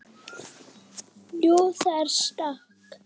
Jú, það er stökk.